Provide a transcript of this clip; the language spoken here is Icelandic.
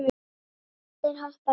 Allir hoppa af kæti.